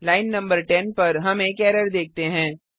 line नं 10 पर हम एक एरर देखते हैं